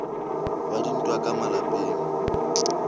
wa dintwa tsa ka malapeng